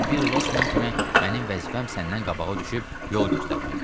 Çünki bir Losman kimi mənim vəzifəm səndən qabağa düşüb yol göstərməkdir.